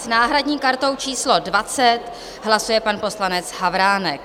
S náhradní kartou číslo 20 hlasuje pan poslanec Havránek.